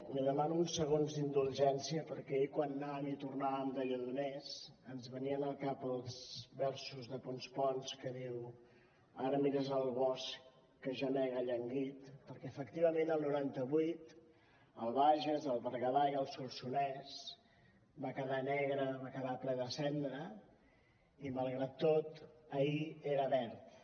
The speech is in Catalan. li demano uns segons d’indulgència perquè ahir quan anàvem i tornàvem de lledoners ens venien al cap els versos de ponç pons que diuen ara mires el bosc que gemega llanguit perquè efectivament el noranta vuit el bages el berguedà i el solsonès van quedar negres van quedar ple de cendra i malgrat tot ahir eren verds